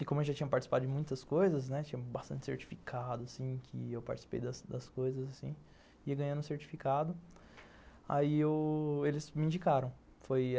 E como eu já tinha participado de muitas coisas, né, tinha bastante certificado assim, que eu participei das das coisas e ganhando o certificado, aí eles me indicaram.